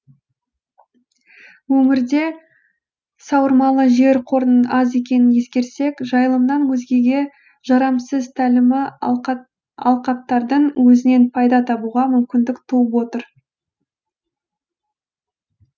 өңірде сауырмалы жер қорының аз екенін ескерсек жайылымнан өзгеге жарамсыз тәлімі алқаптардың өзінен пайда табуға мүмкіндік туып отыр